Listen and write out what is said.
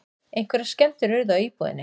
Einhverjar skemmdir urðu á íbúðinni